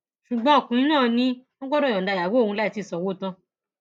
ṣùgbọn ọkùnrin náà ni wọn gbọdọ yọǹda ìyàwó òun láì tì í sanwó tán